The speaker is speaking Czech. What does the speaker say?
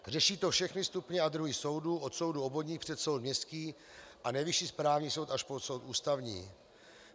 Řeší to všechny stupně a druhy soudů, od soudů obvodních přes soud městský a Nejvyšší správní soud až po soud Ústavní.